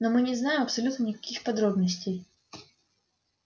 но мы не знаем абсолютно никаких подробностей